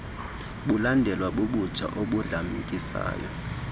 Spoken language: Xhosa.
bulandelwa bubutsha obudlamkisayo